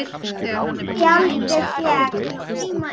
Tjaldið féll.